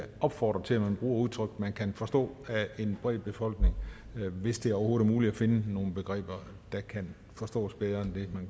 opfordre til at man bruger udtryk der kan forstås af en bred befolkning hvis det overhovedet er muligt at finde nogle begreber der kan forstås bedre end dem man